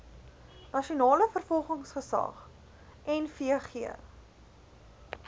nasionale vervolgingsgesag nvg